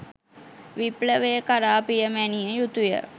විප්ලවය කරා පියමැනිය යුතුය